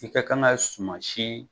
I kɛ kan kɛ sumasi.